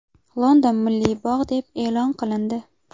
London milliy bog‘ deb e’lon qilindi.